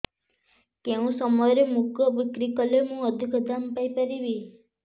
କେଉଁ ସମୟରେ ମୁଗ ବିକ୍ରି କଲେ ମୁଁ ଅଧିକ ଦାମ୍ ପାଇ ପାରିବି